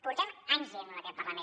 portem anys dient·ho en aquest parlament